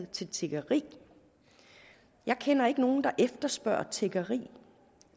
til tiggeri jeg kender ikke nogen der efterspørger tiggeri